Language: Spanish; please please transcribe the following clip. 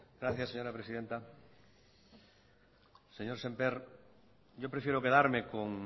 gracias señora presidenta señor semper yo prefiero quedarme con